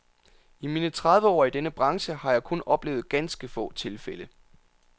I mine tredive år i denne branche har jeg kun oplevet ganske få tilfælde.